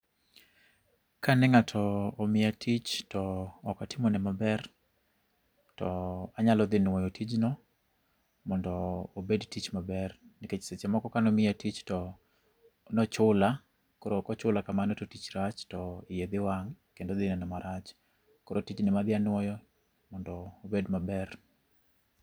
Kane ng'ato omiya tich to ok atimo ne maber to anyalo dhi nuoyo tijno mondo obed tich maber nikech seche moko kane omiya tich to nochula koro ka ochula kamano to tich rach to iye dhi wang' kendo ok odhi neno maber. Koro tij no ema adhi anuoyo mondo obed maber.